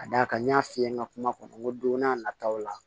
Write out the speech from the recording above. Ka d'a kan n y'a f'i ye n ka kuma kɔnɔ n ko don n'a nataw la